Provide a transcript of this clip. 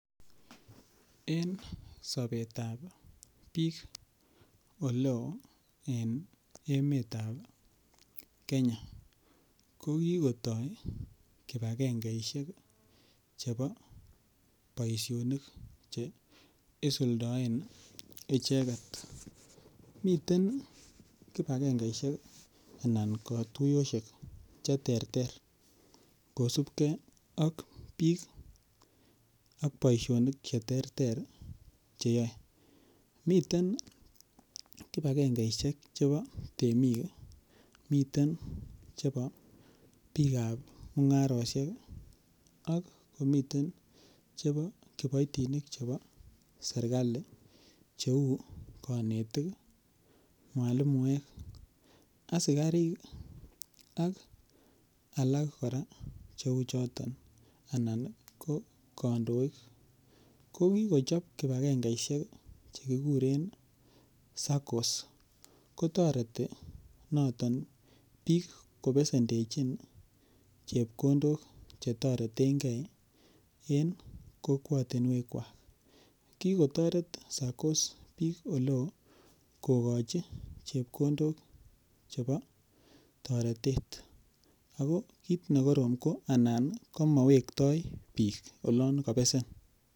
En sobetab biik eleo en emetab kenya kokikotoi kipakengeisiek chebo boisionik che isuldoen icheket miten kipakengeisiek anan katuiyosiek cheterter kosipkee ak biik ak boisionik cheterter cheyoe miten kipakengeisiek chebo temik ,miten chebo biikab mung'arosiek ak komiten chebo kiboitinik chebo serikali cheu konetik, mwalimuek ,askarik ak alak kora cheu choton anan ko kandoik kokikochop kipakengeisiek chekikuren SACCOs kotoreti noton biik kobesendechin chepkondok chetoretengee en kokwotinwekwak kikotoret SACCOs biik eleo kokochi chepkondok chebo toretet ako kit nekoron ko anan komowektoi biik olon kobesen.